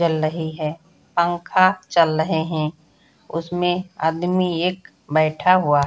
जल रही है पंखा चल रहे हैं उसमें आदमी एक बैठा हुआ --